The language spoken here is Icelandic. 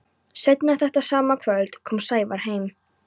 Seinna þetta sama kvöld kom Sævar heim.